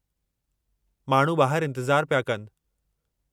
माण्हू ॿाहरि इंतिज़ारु पिया कनि।